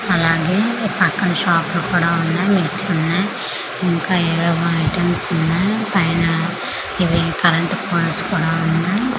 అలాగే పక్కన షాప్ లు కూడా ఉన్నాయి మెట్లు ఉన్నాయి ఇంకా ఏవివో ఐటమ్స్ ఉన్నాయి పైన ఇవి కరెంటు పోల్స్ కూడా ఉన్నాయి.